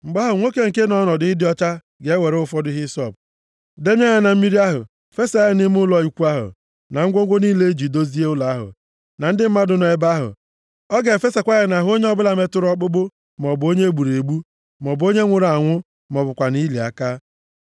Mgbe ahụ, nwoke nke nọ nʼọnọdụ ịdị ọcha ga-ewere ụfọdụ hisọp, denye ya na mmiri ahụ fesaa ya nʼime ụlọ ikwu ahụ, na ngwongwo niile e ji dozie ụlọ ahụ, na ndị mmadụ nọ nʼebe ahụ. Ọ ga-efesakwa ya nʼahụ onye ọbụla metụrụ ọkpụkpụ, maọbụ onye e gburu egbu, maọbụ onye nwụrụ anwụ ma ọ bụkwanụ ili aka.